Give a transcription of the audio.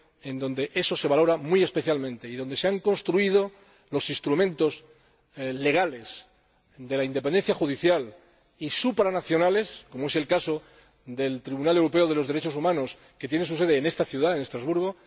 en donde eso se valora muy especialmente y donde se han construido los instrumentos legales de la independencia judicial y supranacionales, como es el caso del Tribunal Europeo de los Derechos Humanos, que tiene su sede en esta ciudad, en Estrasburgo.